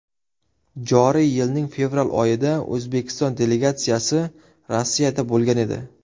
Joriy yilning fevral oyida O‘zbekiston delegatsiyasi Rossiyada bo‘lgan edi.